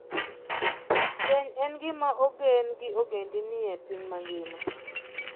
Keny en gima ogen gi ogendini e piny mangima.